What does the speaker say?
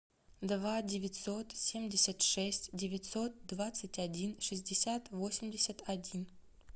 два девятьсот семьдесят шесть девятьсот двадцать один шестьдесят восемьдесят один